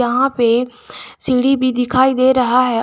यहां पे सीढ़ी भी दिखाई दे रहा है।